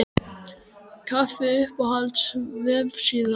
kaffi Uppáhalds vefsíða?